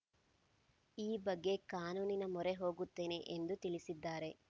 ಈ ಬಗ್ಗೆ ಕಾನೂನಿನ ಮೊರೆ ಹೋಗುತ್ತೇನೆ ಎಂದು ತಿಳಿಸಿದ್ದಾರೆ